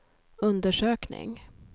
undersökning